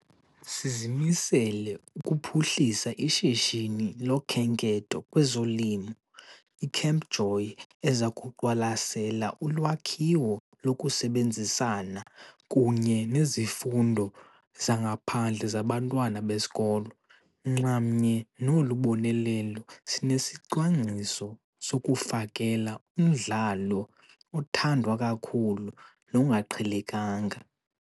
Sizimisele ukuphuhlisa ishishini loKhenketho kwezoLimo, i-Camp JOY, eza kuqwalasela ulwakhiwo lokusebenzisana kunye nezifundo zangaphandle zabantwana besikolo. Nxamnye nolu bonelelo sinesicwangciso sokufakela umdlalo othandwa kakhulu nongaqhelekanga.